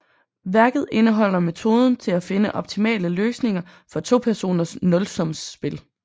Værket indeholder metoden til at finde optimale løsninger for topersoners nulsumsspil